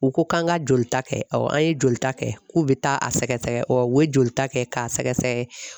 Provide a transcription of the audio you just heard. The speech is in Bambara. U ko k'an ka joli ta kɛ an ye jolita kɛ k'u bɛ taa a sɛgɛsɛgɛ u ye jolita kɛ k'a sɛgɛsɛgɛ